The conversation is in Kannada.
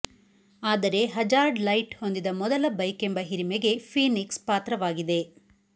ಆದರೆ ಹಜಾರ್ಡ್ ಲೈಟ್ ಹೊಂದಿದ ಮೊದಲ ಬೈಕೆಂಬ ಹಿರಿಮೆಗೆ ಫೀನಿಕ್ಸ್ ಪಾತ್ರವಾಗಿದೆ